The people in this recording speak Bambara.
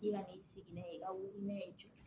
I ka n'i sigi n'a ye ka wili n'a ye cɛ